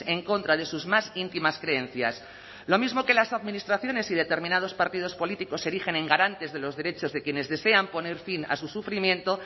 en contra de sus más íntimas creencias lo mismo que las administraciones y determinados partidos políticos se erigen en garantes de los derechos de quienes desean poner fin a su sufrimiento